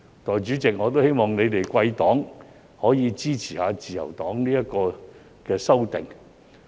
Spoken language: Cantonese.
代理主席，我希望貴黨可以支持自由黨的修訂。